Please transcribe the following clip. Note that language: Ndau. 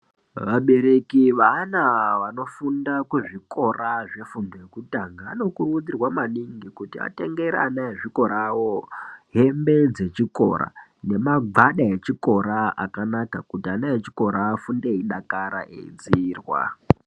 Vabereki vaana vanofunda kuzvikora zvefundo yekutanga anokurudzirwa maningi kuti atengere ana ezvikora awo hembe dzechikora nemagwada echikora akanaka kuti ana echikora afunde eidakara eidziirwa.